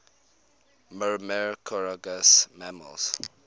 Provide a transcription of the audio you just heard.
myrmecophagous mammals